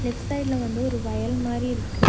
Left சைடுல வந்து ஒரு வயல் மாரி இருக்கு.